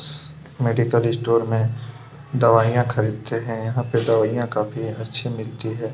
Medical store में दवाइयां खरीदते हैं यहाँ दवाइयां काफी अच्छी मिलती है।